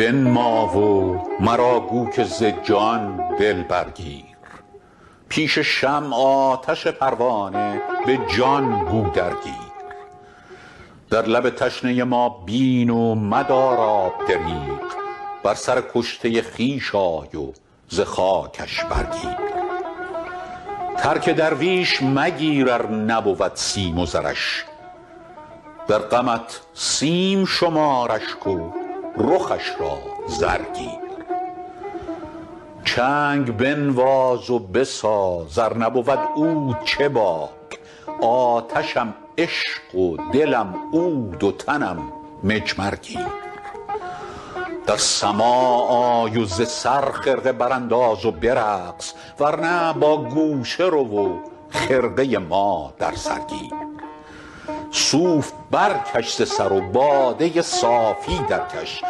روی بنما و مرا گو که ز جان دل برگیر پیش شمع آتش پروانه به جان گو درگیر در لب تشنه ما بین و مدار آب دریغ بر سر کشته خویش آی و ز خاکش برگیر ترک درویش مگیر ار نبود سیم و زرش در غمت سیم شمار اشک و رخش را زر گیر چنگ بنواز و بساز ار نبود عود چه باک آتشم عشق و دلم عود و تنم مجمر گیر در سماع آی و ز سر خرقه برانداز و برقص ور نه با گوشه رو و خرقه ما در سر گیر صوف برکش ز سر و باده صافی درکش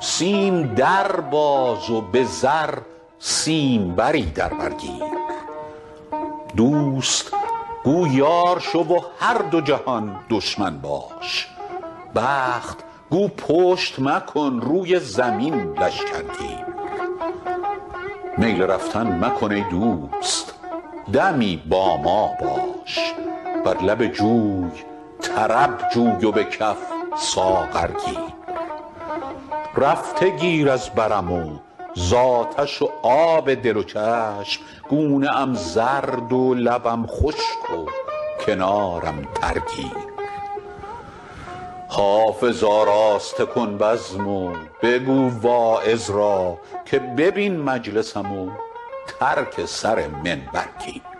سیم در باز و به زر سیمبری در بر گیر دوست گو یار شو و هر دو جهان دشمن باش بخت گو پشت مکن روی زمین لشکر گیر میل رفتن مکن ای دوست دمی با ما باش بر لب جوی طرب جوی و به کف ساغر گیر رفته گیر از برم و زآتش و آب دل و چشم گونه ام زرد و لبم خشک و کنارم تر گیر حافظ آراسته کن بزم و بگو واعظ را که ببین مجلسم و ترک سر منبر گیر